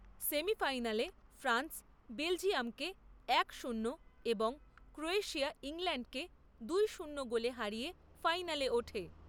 সেমিফাইনালে ফ্রান্স বেলজিয়ামকে এক শূন্য এবং ক্রোয়েশিয়া ইংল্যাণ্ডকে দুই শূন্য গোলে হারিয়ে ফাইনালে ওঠে।